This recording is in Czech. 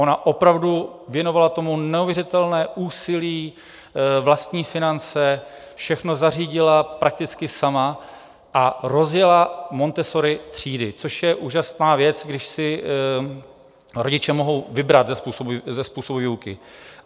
Ona opravdu věnovala tomu neuvěřitelné úsilí, vlastní finance, všechno zařídila prakticky sama a rozjela Montessori třídy, což je úžasná věc, když si rodiče mohou vybrat ze způsobů výuky.